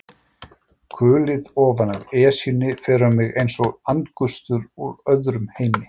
Kulið ofanaf Esjunni fer um mig einsog andgustur úr öðrum heimi.